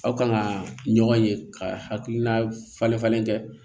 Aw kan ka ɲɔgɔn ye ka hakilina falen falen kɛ